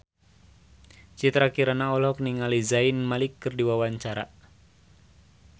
Citra Kirana olohok ningali Zayn Malik keur diwawancara